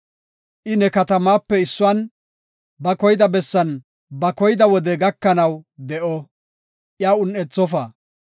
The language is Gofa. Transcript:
I ne katamatape issuwan, ba koyida bessan ba koyida wode gakanaw de7o; iya un7ethofa.